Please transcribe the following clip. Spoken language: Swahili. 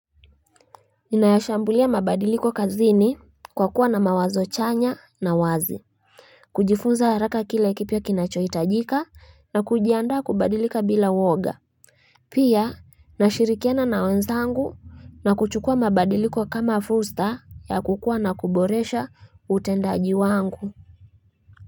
Ninayashambulia mabadiliko kazini kwa kuwa na mawazo chanya na wazi kujifunza haraka kile kipya kinachohitajika na kujiandaa kubadilika bila woga Pia nashirikiana na wenzangu na kuchukua mabadiliko kama fursa ya kukua na kuboresha utendaji wangu.